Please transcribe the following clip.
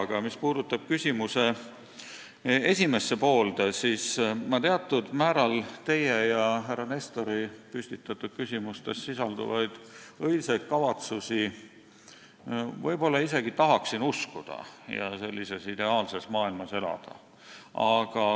Aga mis puudutab küsimuse esimest poolt, siis teatud määral ma isegi tahaksin teie ja härra Nestori püstitatud küsimustes sisalduvaid õilsaid kavatsusi uskuda ning sellises ideaalses maailmas elada.